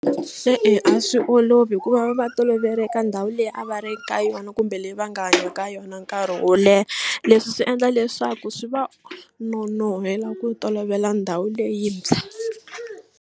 E-e a swi olovi hikuva va tolovele ka ndhawu leyi a va ri ka yona kumbe leyi va nga hanya ka yona nkarhi wo leha leswi swi endla leswaku swi va nonohela ku tolovela ndhawu leyintshwa.